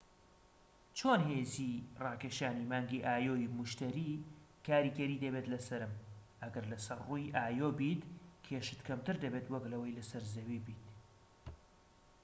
چۆن هێزی ڕاکێشانی مانگی ئایۆ ی موشتەری کاریگەری دەبێت لەسەرم؟ ئەگەر لەسەر ڕووی ئایۆ بیت، کێشت کەمتر دەبێت وەك لەوەی لەسەر زەوی بیت